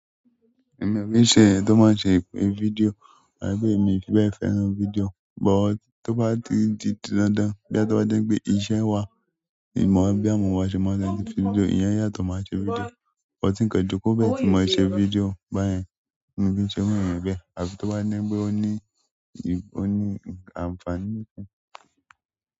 Èmi ò ki ṣe eeyan tó máa ṣe video àbí pé èmi fi bẹ́ẹ̀ fẹ́ràn video, but tó bá di ti dandan bí a bá dé pé iṣẹ́ wa ni mò ń bí àwọn ọmọ wa ṣe máa ṣe video, ìyẹn yà tò máa ṣe video. Ka joko bẹ́ẹ̀ tí ma ṣe video, báyẹn mí ki ṣe irù eeyan bẹ́ẹ̀. Àbí tó bá ní pé ó ní, ó ní àǹfààní.